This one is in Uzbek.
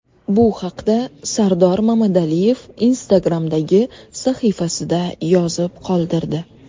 Bu haqda Sardor Mamadaliyev Instagram’dagi sahifasida yozib qoldirdi.